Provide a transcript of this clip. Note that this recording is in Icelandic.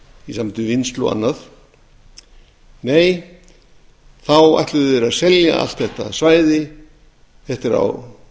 við vinnslu og annað nei þá ætluðu þeir að selja allt þetta svæði þetta er á